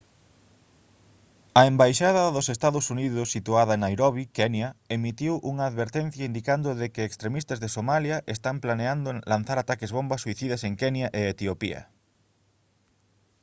a embaixada dos ee. uu. situada en nairobi kenya emitiu unha advertencia indicando de que «extremistas de somalia» están planeando lanzar ataques bomba suicidas en kenya e etiopía